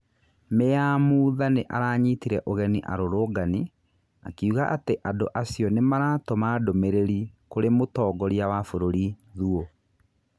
Mĩ ya Mutha nĩ aranyitire ũgeni arũrũngani akiuga atĩ andũ acio nĩ maratũma ndũmĩ rĩ ri kũrĩ mũtongoria wa bũrũri Thuo.